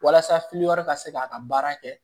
Walasa ka se k'a ka baara kɛ